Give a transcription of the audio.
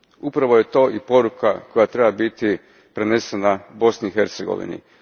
Upravo je to i poruka koja treba biti prenesena Bosni i Hercegovini.